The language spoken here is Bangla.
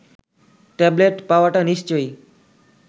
ট্যাবলেট পাওয়াটা নিশ্চয়ই